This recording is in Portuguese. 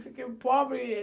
Fiquei pobre.